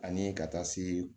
Ani ka taa se